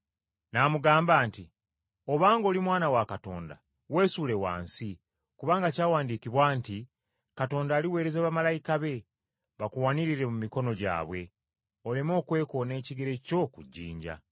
N’amugamba nti, “Obanga oli Mwana wa Katonda weesuule wansi kubanga kyawandiikibwa nti, ‘Katonda aliweereza bamalayika be bakuwanirire mu mikono gyabwe oleme okwekoona ekigere kyo ku jjinja.’ ”